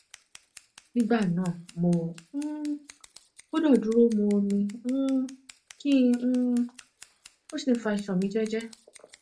nígbà náà mo um gbọdọ dúró mu omi um kí um n sì fa iṣan mi jẹẹjẹẹ